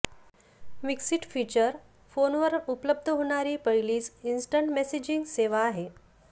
mix it feature फोनवर उपलब्ध होणारी पहिलीच इंस्टंट मेसेजिंग सेवा आहे